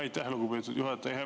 Aitäh, lugupeetud juhataja!